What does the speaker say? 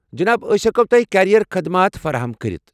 جناب، أس ہٮ۪کو تۄہہِ کیریر خدمات فراہم کٔرتھ۔